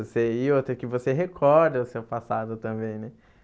Você ia até que você recorda o seu passado também, né?